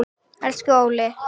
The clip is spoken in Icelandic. Elsku Óli.